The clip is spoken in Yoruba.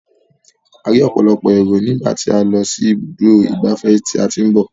A rí ọ̀pọ̀lọpọ̀ èrò nígbà tí a lọ sí ibùdó ìgbafẹ́ tí a ti ń bọ̀.